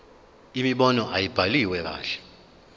imibono ayibhaliwe kahle